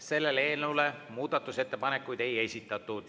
Sellele eelnõule muudatusettepanekuid ei esitatud.